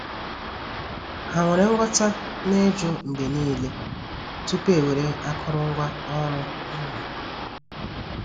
Ha nwere nghọta na-ijụ mgbe niile tupu ewere akụrụngwa oru ubi.